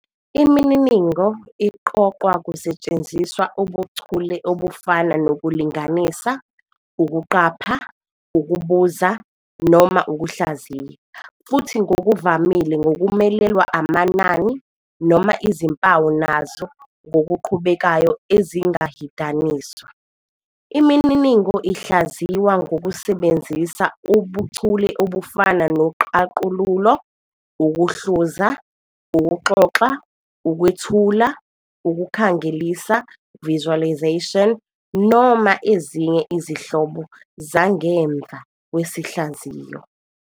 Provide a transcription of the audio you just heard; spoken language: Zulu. Imininingo iqoqwa kusetshenziswa ubuchule obufana nokulinganisa, ukuqapha, ukubuza, noma ukuhlaziya, futhi ngokuvamile ngokumelelwa amanani noma izimpawu nazo ngokuqhubekayo ezingahidaniswa. Imininingo ihlaziywa ngokusebenzisa ubuchule obufana noqaqululo, ukuhluza, ukuxoxa, ukwethula, ukukhangelisa "visualization", noma ezinye izinhlobo zangemva kwesihlaziyo.